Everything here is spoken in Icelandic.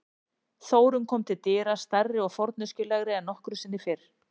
Þórunn kom til dyra, stærri og forneskjulegri en nokkru sinni fyrr.